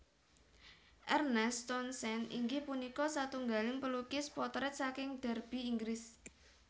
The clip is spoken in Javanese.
Ernest Townsend inggih punika satunggaling pelukis potrèt saking Derby Inggris